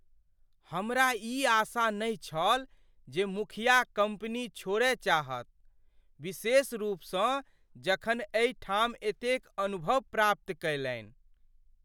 हमरा ई आशा नहि छल जे मुखिया कम्पनी छोड़य चाहत, विशेष रूपसँ जखन एहि ठाम एतेक अनुभव प्राप्त कयलनि ।